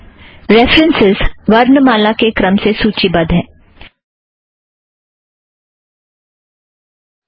references वर्णमाला के क्रम से सूची बद्ध नहीं है